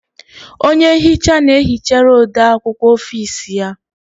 Onye nhicha na-ehichara ode akwukwọ ọfici ya.